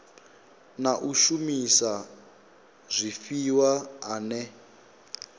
na u shumisa zwifhiwa ane